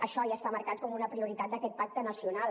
això ja està marcat com una prioritat d’aquest pacte nacional